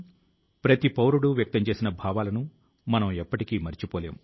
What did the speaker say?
మన్ కీ బాత్ మనసు లో మాట కార్యక్రమం లో ప్రతి నెల నా ప్రయత్నం ఈ విషయం పైనే